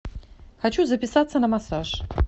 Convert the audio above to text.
хочу записаться на массаж